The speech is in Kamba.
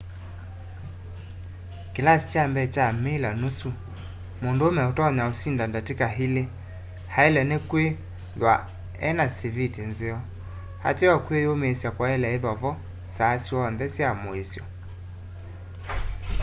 kilasi kya mbee kya miler nusu mundume utonya usinda ndatika ili ailwe ni kwithwa e na siviti nzeo ateo kwi yumiisya kwaile ithwa kwivo saa syonthe sya muisyo